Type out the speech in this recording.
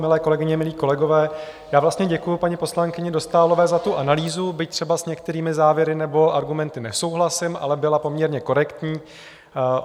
Milé kolegyně, milí kolegové, já vlastně děkuji paní poslankyni Dostálové za tu analýzu, byť třeba s některými závěry nebo argumenty nesouhlasím, ale byla poměrně korektní.